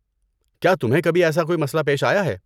کیا تمہیں کبھی ایسا کوئی مسئلہ پیش آیا ہے؟